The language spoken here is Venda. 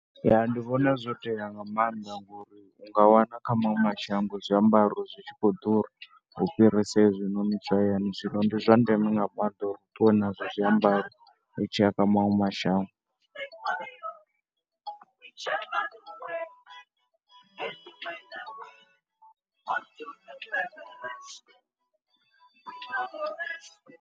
Ya ndi vhona zwo tea nga maanḓa ngori u nga wana kha maṅwe mashango zwiambaro zwi tshi khou ḓura u fhirisa hezwi noni zwa hayani. Zwino ndi zwa ndeme nga maanḓa uri u ṱuwe nazwo zwiambaro u tshi ya kha maṅwe mashango.